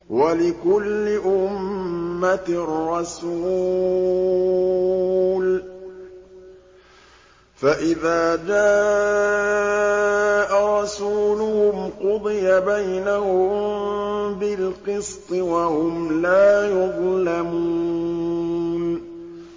وَلِكُلِّ أُمَّةٍ رَّسُولٌ ۖ فَإِذَا جَاءَ رَسُولُهُمْ قُضِيَ بَيْنَهُم بِالْقِسْطِ وَهُمْ لَا يُظْلَمُونَ